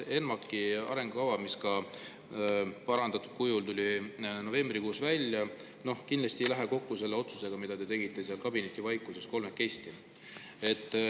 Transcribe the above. ENMAK, mis tuli parandatud kujul novembrikuus välja, kindlasti ei lähe kokku selle otsusega, mille te tegite kolmekesi kabinetivaikuses.